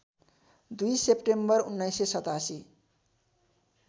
२ September १९८७